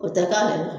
O tɛ k'ale la